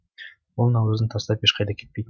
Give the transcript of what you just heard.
ол наурызын тастап ешқайда кетпейтін